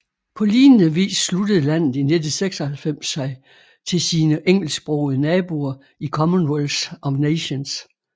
På lignende vis sluttede landet i 1996 sig til sine engelsksprogede naboer i Commonwealth of Nations